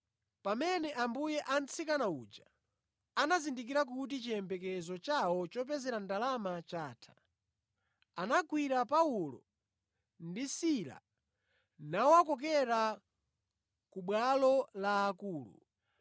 Pamene ambuye a mtsikana uja anazindikira kuti chiyembekezo chawo chopezera ndalama chatha, anagwira Paulo ndi Sila nawakokera ku bwalo la akulu.